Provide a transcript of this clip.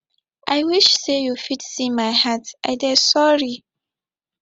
i wish say you fit see my heart i dey sorry